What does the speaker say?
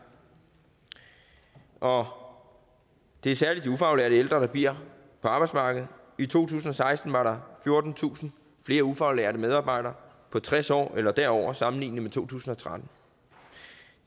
og det er særlig de ufaglærte ældre der bliver på arbejdsmarkedet i to tusind og seksten var der fjortentusind flere ufaglærte medarbejdere på tres år eller derover i sammenligning med to tusind og tretten